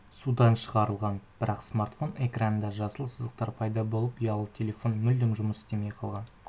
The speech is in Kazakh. судан шығарылған бірақ смартфон экранында жасыл сызықтар пайда болып ұялы телефон мүлдем жұмыс істемей қалған